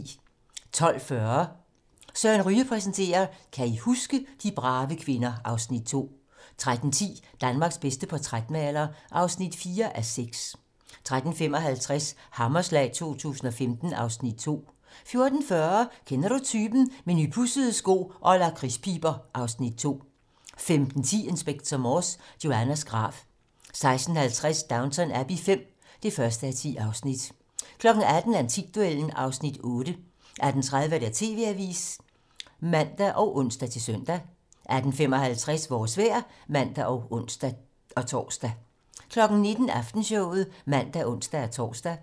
12:40: Søren Ryge præsenterer: Kan I huske? - De brave kvinder (Afs. 2) 13:10: Danmarks bedste portrætmaler (4:6) 13:55: Hammerslag 2015 (Afs. 2) 14:40: Kender du typen? - Med nypudsede sko og lakridspiber (Afs. 2) 15:10: Inspector Morse: Joannas grav 16:50: Downton Abbey V (1:10) 18:00: Antikduellen (Afs. 8) 18:30: TV-Avisen (man og ons-søn) 18:55: Vores vejr (man og ons-tor) 19:00: Aftenshowet (man og ons-tor)